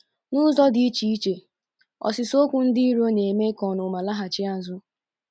N’ụzọ dị iche iche, “ ọsịsa okwu dị nro na - eme ka ọnụma laghachi azụ. ”